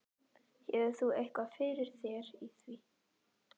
Hefur þú eitthvað fyrir þér í því?